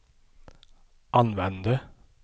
använde